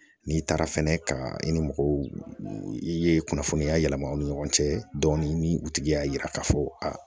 N'i taara fɛnɛ ka i ni mɔgɔw i ye kunnafoniya yɛlɛma u ni ɲɔgɔn cɛ dɔɔnin ni u tigi y'a yira k'a fɔ a